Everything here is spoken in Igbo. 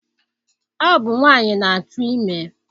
Ọ bụ nwaanyị na-atụ ime